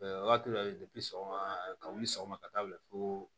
Wagati dɔ la sɔgɔma ka wuli sɔgɔma ka taa bila fo